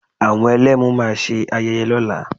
Àwọn Ẹlẹ́mu máa ṣe ayẹyẹ lọ́la